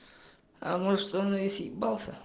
а может он и съебался